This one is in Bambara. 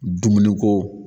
Dumuni ko